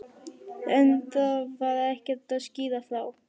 En það var ekkert að skýra frá.